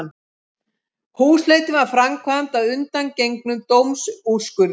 Húsleitin var framkvæmd að undangengnum dómsúrskurði